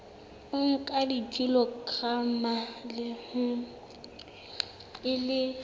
o nka kilograma e le